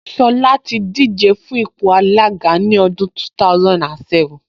Ṣọlá ti díje fún ipò alága ní ọdún 2007